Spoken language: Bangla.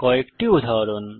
কয়েকটি উদাহরণ